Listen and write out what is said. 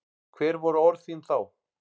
Hver voru orð þín þá?